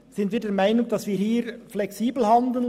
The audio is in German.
HIer sind wir der Meinung, wir müssten flexibel handeln.